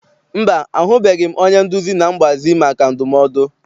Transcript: Mba, ahụbeghị m onye nduzi na mgbazi maka ndumodu.